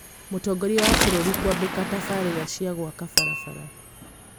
mũtongoria wa bũrũri kwambika tabarira cia gwaka barabara